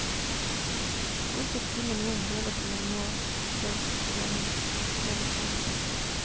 Hvorfor skulle noen høre på meg nå, spør sosialmedisineren.